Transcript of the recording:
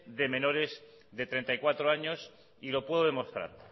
de menores de treinta y cuatro años y lo puedo demostrar